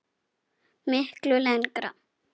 Miklu lengra.